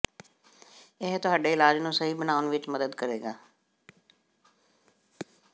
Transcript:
ਇਹ ਤੁਹਾਡੇ ਇਲਾਜ ਨੂੰ ਸਹੀ ਬਣਾਉਣ ਵਿੱਚ ਮਦਦ ਕਰੇਗਾ